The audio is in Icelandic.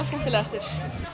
skemmtilegastur